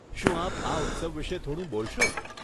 શું આપ આ ઉત્સવ વિષે થોડું બોલશો?